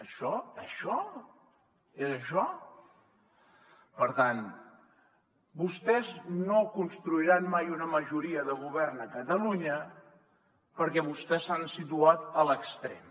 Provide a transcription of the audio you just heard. això això és això per tant vostès no construiran mai una majoria de govern a catalunya perquè vostès s’han situat a l’extrem